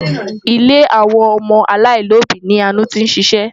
Ilé àwọn ọmọ aláìlóbìí ni Àánú tí ń ṣiṣẹ́.